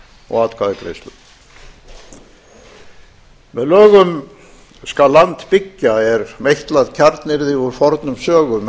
og atkvæðagreiðslum með lögum skal land byggja er meitlað kjarnyrði úr fornum sögum